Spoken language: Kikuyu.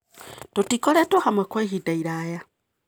Tũtikoretwo hamwe kwa ihinda iraya.